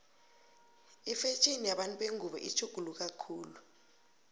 ifetjheni yabantu bengubo itjhuguluka khulu